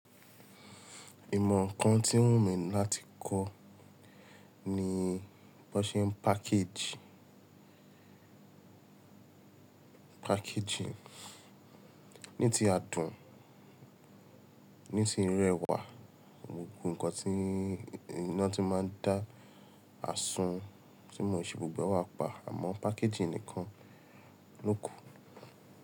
Ìmọ̀ kan tí n wù mí láti kọ́ ni bó ṣe ń package, packaging. Ní ti adùn, ní ti ìrẹwà, gbogbo ǹkan tí iná ti máa ń dá àsun tí mo ṣe, gbogbo wa pa àmọ́ packaging nìkan ló kù.